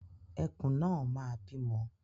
Ẹkùn náà máa bímọ.